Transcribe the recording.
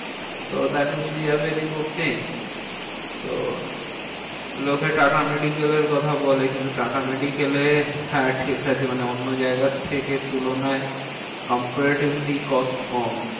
তো that will be a very good think তো লোকে টাটা মেডিক্যালের কথা বলে, কিন্তু টাটা মেডিক্যালে হ্যাঁ ঠিকাছে মানে অন্য জায়গার থেকে তুলনায় comparatively cost কম।